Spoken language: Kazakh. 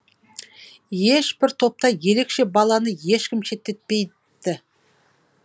ешбір топта ерекше баланы ешкім шеттетпейпті